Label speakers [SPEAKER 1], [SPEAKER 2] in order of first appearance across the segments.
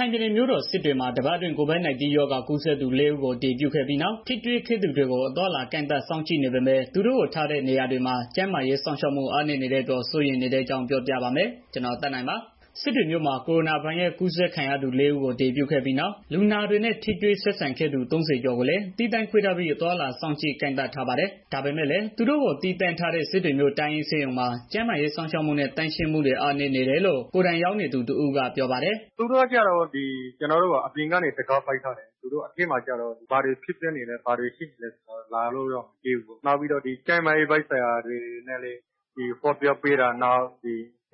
[SPEAKER 1] ိုင်ပြည်နယ်မြို့တော် စစ်တွေမှာ တပတ်အတွင်း COVID-19 ရောဂါပိုးကူးစက်သူ ၄ ဦးကို အတည်ပြုခဲ့ပြီးနောက် ထိတွေ့ဆက်ဆံခဲ့သူတွေကို အသွားအလာ ကန့်သတ်စောင့်ကြည့်နေပေမဲ့ သူတို့ကိုထားတဲ့ နေရာတွေမှာ ကျန်းမာရေးစောင့်ရှောက်မှု အားနည်းနေတဲ့အပေါ် စိုးရိမ်နေကြတဲ့အကြောင်းကို ဗွီအိုအေမြန်မာပိုင်းသတင်းထောက် ကိုသက်နိုင်က ပြောပြပေးပါမယ်။ စစ်တွေမြို့မှာ ကိုရိုနာဗိုင်းရပ်စ် ကူးစက်ခံရသူ ၄ ဦးကို အတည်ပြုခဲ့ပြီးနောက် လူနာတွေနဲ့ ထိတွေ့ဆက်ဆံခဲ့သူ ၃၀ ကျော်ကိုလည်း သီးသန့်ခွဲထားပြီး အသွားအလာ စောင့်ကြည့်ကန့်သတ်ထားပါတယ်။ ဒါပေမဲ့လည်း သူတို့ကို သီးသန့်ထားတဲ့ စစ်တွေမြို့ တိုင်းရင်းဆေးရုံမှာ ကျန်းမာရေးစောင့်ရှောက်မှုနဲ့ သန့်ရှင်းမှုတွေ အားနည်းနေတယ်လို့ ကိုယ်တိုင်ရောက်နေသူ တစ်ဦးကပြောပါတယ်
[SPEAKER 2] ။ "သူတို့ကကျတော့ ကျနော်တို့ကို အပြင်ကနေ တံခါးပိတ်ထားတယ်။ အထဲမှာကျတော့ ဘာတွေ ဖြစ်ပျက်နေလဲ၊ ဘာတွေဖြစ်နေလဲဆိုတာကို လာလို့တောင်မကြည့်ဘူး။ နာက်ပြီးတော့ ကျန်းမာရေးပိုင်းဆိုင်ရာနဲ့ ပတ်သတ်ပြီး ဟောပြောပေးတာ။ နှ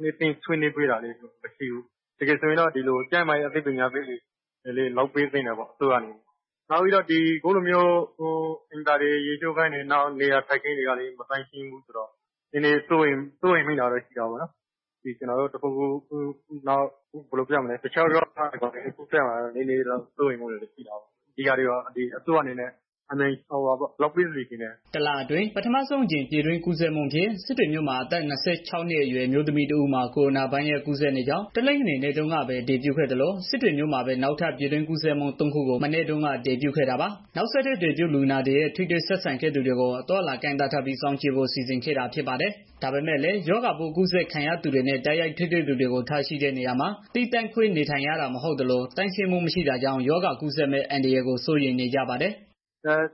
[SPEAKER 2] စ်သိမ့် ဆွေးနွေးပေးတာတွေလည်း မရှိဘူး။ တကယ်ဆိုရင်တော့ ကျန်းမာရေး အသိပညာပေးတွေ လုပ်ပေးသင့်တာပေါ့။ နောက်ပြီးတော့ အခုလိုမျိုး အိမ်သာတွေ၊ ရေချိုးခန်းတွေ နေရာထိုင်ခင်းတွေကလည်း မသန့်ရှင်းဘူးဆိုတော့ နည်းနည်း စိုးရိမ်မိတာတော့ ရှိတာပေါ့နော်။ တခြားရောဂါတွေ ကူးစက်မှာကို စိုးရိမ်မှုရှိတာပေါ့။ ဒါတွေကို အစိုးရကနေပြီးတော့ အမြန်ဆုံး လုပ်ပေးစေချင်တယ်ပေါ့နော
[SPEAKER 1] ်။" တလအတွင်း ပထမဆုံးအကြိမ် ပြည်တွင်းကူးစက်မှုအဖြစ် စစ်တွေမြို့မှာ အသက် ၂၆ နှစ်အရွယ် အမျိုးသမီးတဦးမှာ ကိုရိုနာဗိုင်းရပ်စ် ကူးစက်နေကြောင်း တနင်္ဂနွေနေ့တုန်းကပဲ အတည်ပြုခဲ့သလို၊ စစ်တွေမြို့မှာပဲ နောက်ထပ် ပြည်တွင်း ကူးစက်မှု ၃ ခုကို မနေ့တုန်းက အတည်ပြုခဲ့တာပါ။ နောက်ဆက်တွဲ အတည်ပြုလူနာတွေနဲ့ ထိတွေ့ဆက်ဆံခဲ့သူတွေကို အသွားအလာ ကန့်သတ်ထားပြီး စောင့်ကြည့်ဖို့ စီစဉ်ခဲ့တာ ဖြစ်ပါတယ်။ ဒါပေမဲ့လည်း ရောဂါပိုးကူးစက်ခံရသူတွေနဲ့ တိုက်ရိုက်ထိတွေ့ရှိသူတွေကို ထားရှိတဲ့နေရာမှာ သီးသန့်ခွဲ နေထိုင်ရတာ မဟုတ်သလို သန့်ရှင်းမှုမရှိတာကြောင့် ရောဂါကူးစက်မယ့် အန္တရာယ်ကို စိုးရိမ်နေကြပါတယ်။
[SPEAKER 2] "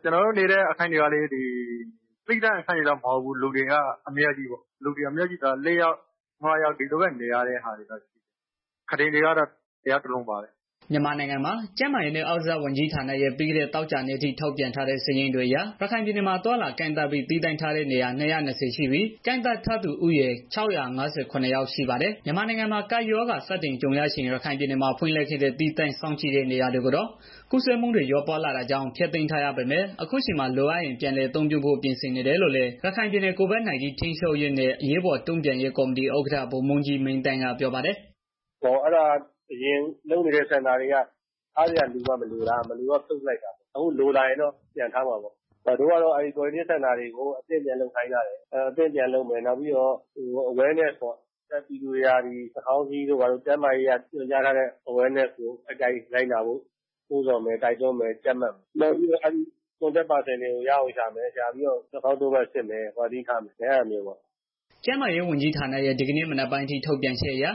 [SPEAKER 2] ကျနော်တို့နေတဲ့ အခန်းတွေကလည်း သီးသန့်အခန်းတွေတော့ မဟုတ်ဘူး။ လူတွေအများကြီးပေါ့။ လေးယောက်၊ ငါးယောက် အဲလိုနေရတယ် အိပ်ကုတင်တွေကတော့ တစ်ယောက်တစ်လုံးပါပဲ။"
[SPEAKER 1] မြန်မာနိုင်ငံ ကျန်းမာရေးနဲ့ အားကစားဝန်ကြီးဌာနရဲ့ ပြီးခဲ့တဲ့သောကြာနေ့အထိ ထုတ်ပြန်ထားတဲ့ စာရင်းတွေအရ ရခိုင်ပြည်နယ်မှာ အသွားအလာ ကန့်သတ်ပြီး သီးသန့်ထားတဲ့နေရာ ၂၂၀ ရှိပြီး၊ ကန့်သတ်ထားသူဦးရေ ၆၅၇ ယောက် ရှိပါတယ်။ မြန်မာနိုင်ငံမှာ ကပ်ရောဂါ စတင်ကြုံရချိန် ရခိုင်ပြည်နယ်မှာ ဖွင့်လှစ်ခဲ့တဲ့ သီးသန့်စောင့်ကြည့်တဲ့ နေရာတွေကိုတော့ ကူးစက်မှုတွေ လျော့ပါးလာတာကြောင့် ဖျက်သိမ်းထားရပေမဲ့ အခုအချိန်မှာ လိုအပ်ရင် ပြန်လည်အသုံးပြုဖို့ ပြင်ဆင်နေတယ်လို့လည်း ရခိုင်ပြည်နယ် COVID-19 ထိန်းချုပ်ရေးနဲ့ အရေးပေါ်တုန့်ပြန်ရေး ကော်မတီဥက္ကဋ္ဌ ဗိုလ်မှူးကြီး မင်းသန်းက ပြောပါတယ်။ "
[SPEAKER 3] အရင်လုပ်နေတဲ့ Quarantine center လိုမှ မလိုတော့တာ မလိုတော့ ဖြုတ်လိုက် တယ်။ အခုလိုလာတော့ ပြန်လုပ်မယ်ပေါ့။ အခုကတော့ အဲတာတွေကို အသစ်ပြန်လုပ်ခိုင်းထားတယ်။ နောက်ပြီးတော့ ကျန်းမာရေးဆိုင်ရာ အသိပညာပေးတွေ ပြန်လုပ်မယ်။ ကျန်းမာရေးညွန်ကြား ချက် တွေကို လိုက်နာဖို့ နှိုးဆော်မယ်၊ တိုက်တွန်းမယ်၊ ကြပ်မတ်မယ်။ ပြီးတော့ contact person တွေကို ရှာပြီးတော့ စစ်မယ်။ Quarantine ထားမယ်ပေါ့။"
[SPEAKER 1] ကျန်းမာရေး ဝန်ကြီးဌာနရဲ့ ဒီကနေ့ မနက်ပိုင်းအထိ ထုတ်ပြန်ချက်အရ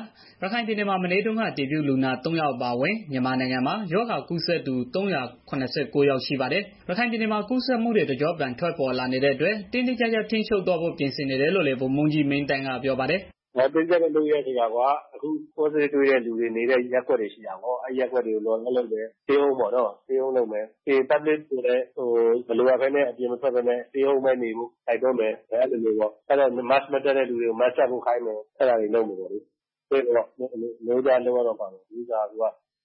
[SPEAKER 1] ရခိုင်ပြည်နယ်မှာ မနေ့တုန်းက အတည်ပြုလူနာ ၃ ယောက် အပါအဝင် ရောဂါကူးစက်သူ ၃၇၉ ယောက် ရှိနေပါတယ်။ ရခိုင်ပြည်နယ်မှာ ကူးစက်မှုတွေ တကျော့ပြန် ထွက်ပေါ်လာနေတဲ့အတွက် တင်းတင်းကြပ်ကြပ် ထိန်းချုပ်သွားဖို့ ပြင်ဆင်နေတယ်လို့လည်း ဗိုလ်မှူးကြီး မင်းသန်းက ပြောပါတယ်။ "
[SPEAKER 3] တင်းကြပ်မယ်ဆိုတာက ဒီလိုကွာ ရောဂါပိုးတွေတဲ့သူတွေ နေတဲ့ ရပ်ကွက်တွေကို lockdown လုပ် မယ်။ ပြီးတော့ လူထုကိုလည်း မလိုအပ်ဘဲ အပြင်မထွက်ဘဲ အိမ်မှာပဲနေကြဖို့ တိုက်တွန်းမယ်။ mask မတတ်တဲ့ သူတွေကို mask တပ်ခိုင်းမယ်။ နိုးနိုးကြွကြွလုပ်ရတော့မှာပေါ့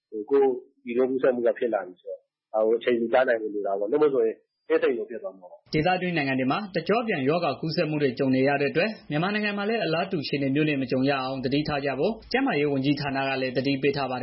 [SPEAKER 3] အခုက ပြည်တွင်း ကူးစက်မှုက ဖြစ်လာပြီဆိုတော့ ဒါကို အချိန်မှီတားနိုင်ဖို့ လိုတယ်။ မဟုတ်ရင် အင်းစိန်လိုဖြစ်သွား
[SPEAKER 1] မှာပေါ့။" ဒေသတွင်းနိုင်ငံတွေမှာ တကျော့ပြန် ရောဂါကူးစက်မှုတွေ ကြုံနေရတဲ့အတွက် မြန်မာနိုင်ငံမှာလည်း အလားတူ အခြေအနေမျိုးနဲ့ မကြုံရအောင် သတိထားကြဖို့ ကျန်းမာရေးဝန်ကြီးဌာနကလည်း သတိပေးထားပါတယ်